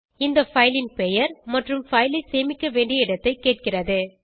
இது fileன் பெயர் மற்றும் பைல் ஐ சேமிக்க வேண்டிய இடத்தைக் கேட்கிறது